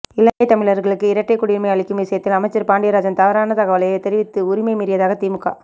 இலங்கை தமிழர்களுக்கு இரட்டை குடியுரிமை அளிக்கும் விஷயத்தில் அமைச்சர் பாண்டியராஜன் தவறான தகவலை தெரிவித்து உரிமை மீறியதாக திமுக